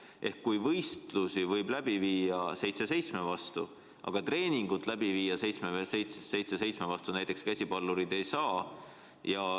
Seega võistlusi võib läbi viia seitse seitsme vastu mängides, aga treeningut teha käsipallurid ei saa.